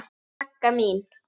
Magga mín.